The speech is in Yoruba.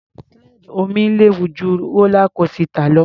Slide omi léwu ju rólá kósità lọ.